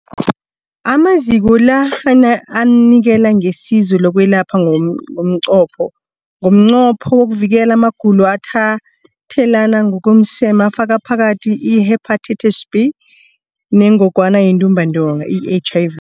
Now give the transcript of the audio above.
Amaziko la anikela ngesizo lokwelapha ngomnqopho wokuvikela amagulo athathelana ngokomseme afaka phakathi i-Hepatitis B neNgogwana yeNtumbantonga, i-HIV.